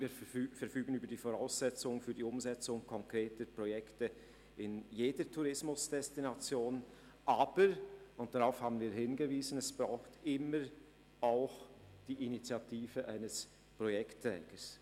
Wir verfügen über die Voraussetzungen zur Umsetzung konkreter Projekte in jeder Tourismusdestination, aber – und darauf haben wir hingewiesen – es braucht immer auch die Initiative eines Projektträgers.